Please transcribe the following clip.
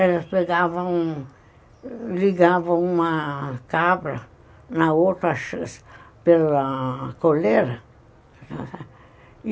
Eles pegavam... ligavam uma cabra na outra... pela coleira.